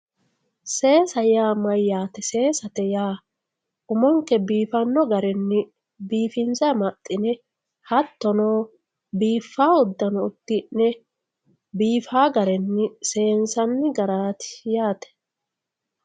Seesate yaa mayaate umonke biifano garinni biifinse amaxine hatono biifawo udano udine biifawo garinni ssensanni garati yaate